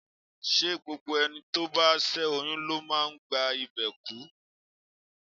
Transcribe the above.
Ṣé gbogbo ẹni tó bá ṣé oyún ló máa ń gba ìbè kú?